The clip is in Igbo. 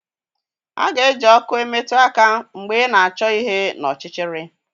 A ga-eji ọkụ emetụ aka mgbe ị na-achọ ihe n'ọchịchịrị